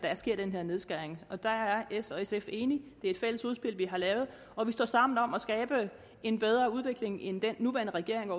der sker den her nedskæring og der er s og sf enige det er et fælles udspil vi har lavet og vi står sammen om at skabe en bedre udvikling end den nuværende regering